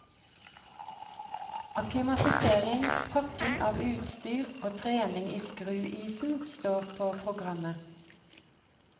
Akklimatisering, pakking av utstyr og trening i skruisen står på programmet.